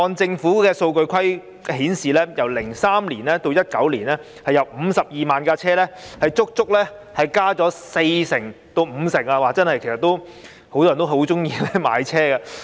政府的數據顯示，由2003年至2019年，汽車的數目由52萬輛足足增加了四成至五成，很多人也喜歡買車。